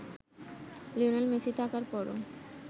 Lionel Messi থাকার পরও